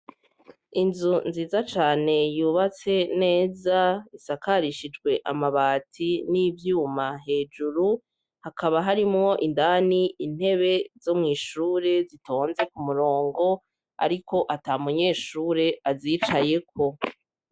Inzuzu nziza cane yubatse neza isakarishijwe amabati n'ivyuma hejuru hakaba harimwo indani intebe zo mw'ishuri zitonze ku murongo ariko ata munyeshuri azicayeko .